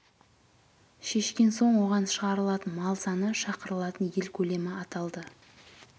шешкен соң оған шығарылатын мал саны шақырылатын ел көлемі аталды